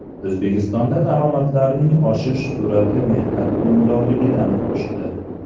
O‘zbekistonda daromadlarning o‘sish sur’ati mehnat unumdorligidan oshdi.